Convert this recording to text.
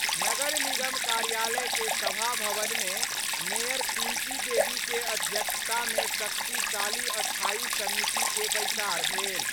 नगर निगम कार्यालय के सभा भवन मे मेयर पिंकी देवी के अध्यक्षता मे शक्तिशाली स्थायी समिति के बैसार भेल।